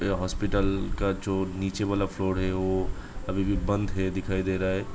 ये हॉस्पिटल का जो नीचे वाला फ्लोर है वो अभी भी बंद है दिखाई दे रहा है।